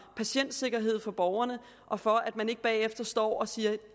patientsikkerhed for borgerne og for at man ikke bagefter står og siger